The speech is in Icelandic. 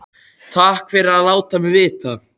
Takk fyrir að láta mig vita